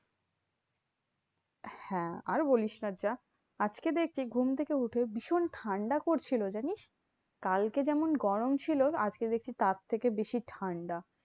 হ্যাঁ আর বলিস না। যা আজকে দেখছি ঘুম থেকে উঠে ভীষণ ঠান্ডা করছিলো জানিস? কালকে যেমন গরম ছিল, আজকে দেখছি তার থেকে বেশি ঠান্ডা।